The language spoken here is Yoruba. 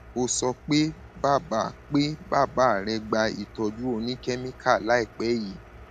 o sọ pé bàbá pé bàbá rẹ gba ìtọjú oníkẹmíkà láìpẹ yìí